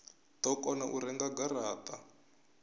do kona u renga garata